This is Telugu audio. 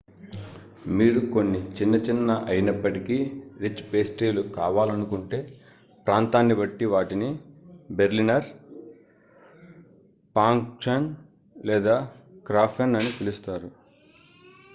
మీరు కొన్ని చిన్న చిన్న అయినప్పటికీ రిచ్ పేస్ట్రీలు కావాలనుకుంటే ప్రాంతాన్ని బట్టి వాటిని బెర్లినర్ pfankuchen లేదా krafen అని పిలుస్తారు